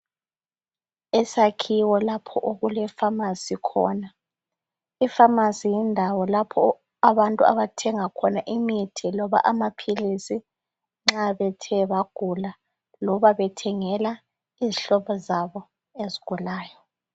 isakhiwo lapho okule phamarcy khona i phamarcy yindawo lapho abantu abathenga khona imithi loba amaphilisi nxa bethe bagula loba bethengela izihlobo zabo ezithe zagula